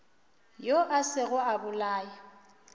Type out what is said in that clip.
yo a sego a bolaya